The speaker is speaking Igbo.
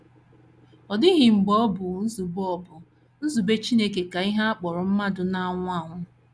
Ọ dịghị mgbe ọ bụ nzube ọ bụ nzube Chineke ka ihe a kpọrọ mmadụ na - anwụ anwụ.